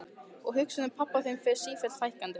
Og hugsunum um pabba þinn fer sífellt fækkandi.